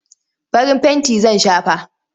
Farin fenti zan shafa.